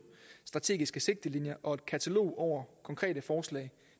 strategiske sigtelinjer og et katalog over konkrete forslag